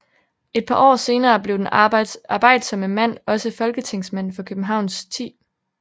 Et par år senere blev den arbejdsomme mand også Folketingsmand for Københavns 10